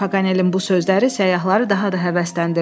Paganelin bu sözləri səyyahları daha da həvəsləndirdi.